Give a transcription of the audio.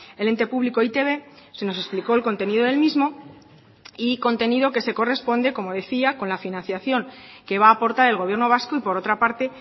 el ente público e i te be se nos explicó el contenido del mismo y contenido que se corresponde como decía con la financiación que va a aportar el gobierno vasco y por otra parte